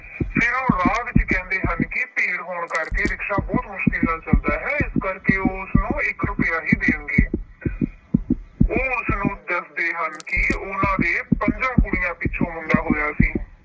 ਫਿਰ ਉਹ ਰਾਹ ਵਿੱਚ ਕਹਿੰਦੇ ਹਨ ਕਿ ਭੀੜ ਹੋਣ ਕਰਕੇ ਰਿਕਸ਼ਾ ਬਹੁਤ ਮੁਸ਼ਕਿਲ ਨਾਲ ਚੱਲਦਾ ਹੈ। ਇਸ ਕਰਕੇ ਉਹ ਉਸਨੂੰ ਇੱਕ ਰੁਪਇਆ ਹੀ ਦੇਣਗੇ। ਉਹ ਉਸਨੂੰ ਦੱਸਦੇ ਹਨ ਕਿ ਉਹਨਾਂ ਦੇ ਪੰਜਾਂ ਕੁੜੀਆਂ ਪਿੱਛੋਂ ਮੁੰਡਾ ਹੋਇਆ ਸੀ।